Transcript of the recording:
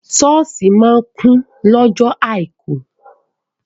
Sọ́ọ̀ṣì máa kún lọ́jọ àìkú.